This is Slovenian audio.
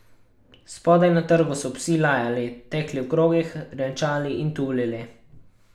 Spodaj na trgu so psi lajali, tekli v krogih, renčali in tulili.